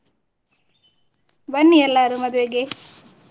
ಬನ್ನಿ ಎಲ್ಲಾರು ಮದುವೆಗೆ.